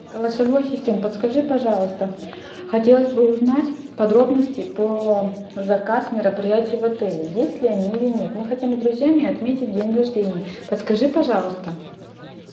голосовой ассистент подскажи пожалуйста хотелось бы узнать подробности по заказ мероприятий в отеле есть ли они или нет мы хотим с друзьями отметить день рождения подскажи пожалуйста